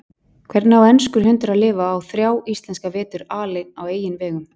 Hvernig á enskur hundur að lifa af þrjá íslenska vetur aleinn á eigin vegum?